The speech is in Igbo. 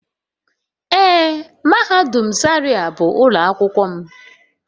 Ee mahadum zaria bu ulo akwukwo m.